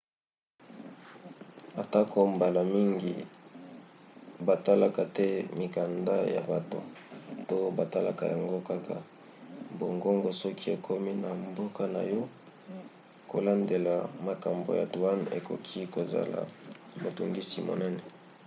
atako mbala mingi batalaka te mikanda ya bato to batalaka yango kaka bongobongo soki okomi na mboka na yo kolandela makambo ya douane ekoki kozala motungisi monene